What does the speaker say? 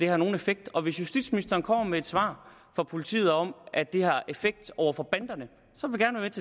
er nogen effekt og hvis justitsministeren kommer med et svar fra politiet om at det har en effekt over for banderne